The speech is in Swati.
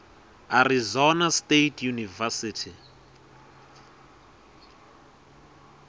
arizona state university